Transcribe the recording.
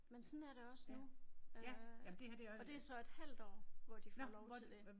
Men sådan er det også nu øh og det er så et halvt år hvor de får lov til det